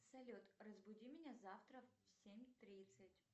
салют разбуди меня завтра в семь тридцать